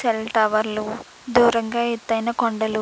Cell టవర్లు దూరంగా ఎత్తైన కండలు.